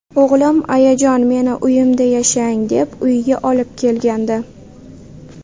O‘g‘lim ayajon meni uyimda yashang, deb uyiga olib kelgandi.